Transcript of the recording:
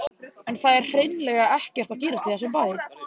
En það er hreinlega ekkert að gerast í þessum bæ.